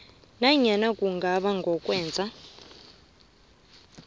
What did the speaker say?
nanyana kungaba ngokwenza